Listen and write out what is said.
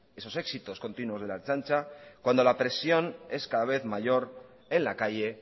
esos éxitos continuos de la ertzaintza cuando la presión es cada vez mayor en la calle